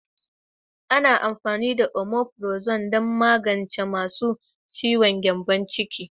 Ana amfani da Omeprazole don magance masu ciwon gyambon ciki.